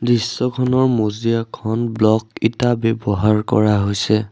দৃশ্যখনৰ মজিয়াখন ব্লক ইটা ব্যবহাৰ কৰা হৈছে।